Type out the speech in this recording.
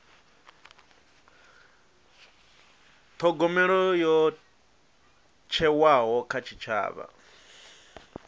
thogomelo yo thewaho kha tshitshavha